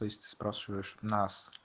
то есть ты спрашиваешь нас